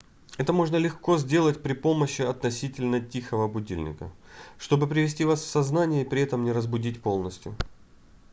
это можно легко сделать при помощи относительно тихого будильника чтобы привести вас в сознание и при этом не разбудить полностью